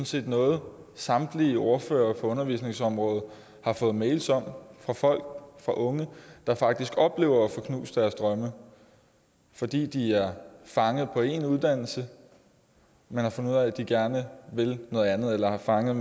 set noget samtlige ordførere på undervisningsområdet har fået mails om fra folk fra unge der faktisk oplever at få knust deres drømme fordi de er fanget på en uddannelse men har fundet ud af at de gerne vil noget andet eller er fanget